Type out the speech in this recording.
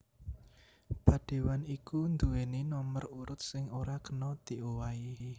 Padéwan iku nduwèni nomer urut sing ora kena diowahi